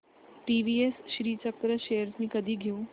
TVS Srichakra shares मी कधी घेऊ